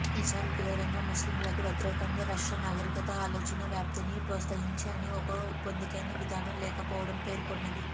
ఇస్మాయిల్ క్రూరంగా ముస్లింలకు వ్యతిరేకంగా రష్యన్ నాగరికత ఆలోచన వ్యాప్తిని ప్రోత్సహించి అని ఒక పొందికైన విధానం లేకపోవడం పేర్కొన్నది